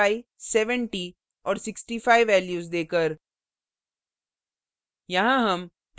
उनको 7570 और 65 values देकर